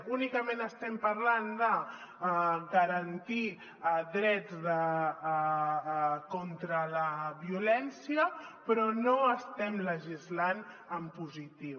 únicament estem parlant de garantir drets contra la violència però no estem legislant en positiu